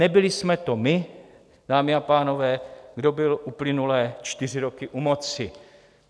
Nebyli jsme to my, dámy a pánové, kdo byl uplynulé čtyři roky u moci.